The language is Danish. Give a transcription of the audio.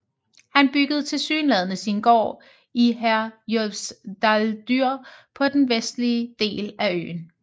Han byggede tilsyneladende sin gård i Herjólfsdalur på den vestlige del af øen